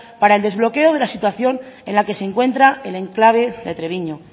para el desbloqueo de la situación en la que se encuentra el enclave de treviño